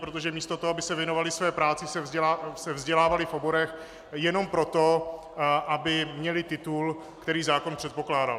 Protože místo toho, aby se věnovali své práci, se vzdělávali v oborech jenom proto, aby měli titul, který zákon předpokládal.